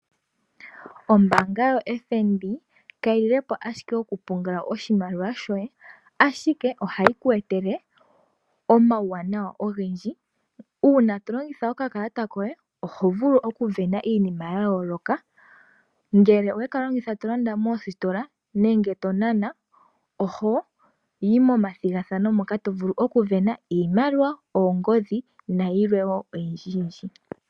Ombaanga yo (FNB) ka yi lilepo ashike oku pungula oshimaliwa shoye, ashike oha yi ku etele omauwanawa ogendji. Uuna to longitha oka kalata koye oho vulu oku vena iinima ya yoloka, ngele owe ka longitha to landa moositola, nenge to nana oho yi momathihathano moka to vulu oku vena iimaliwa, oongodhi nayilwe wo oyindji.